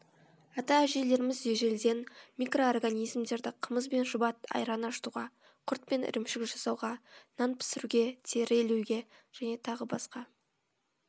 ата әжелеріміз ежелден микроорганизмдерді қымыз бен шұбат айран ашытуға құрт пен ірімшік жасауға нан пісіруге тері илеуге т б